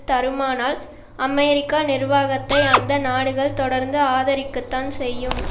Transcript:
தருமானால் அமெரிக்க நிர்வாகத்தை அந்த நாடுகள் தொடர்ந்து ஆதரிக்கத்தான் செய்யும்